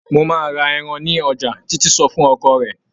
"Mo máa ra ẹran ní ọjà", Títí sọ fún ọkọ rẹ̀.